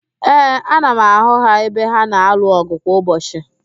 Ee, ana m ahụ ha ebe ha na-alụ ọgụ kwa ụbọchị